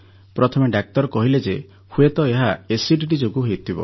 ପ୍ରଥମେ ଡାକ୍ତର କହିଲେ ଯେ ହୁଏତ ଏହା ଏସିଡିଟି ଯୋଗୁଁ ହେଉଥିବ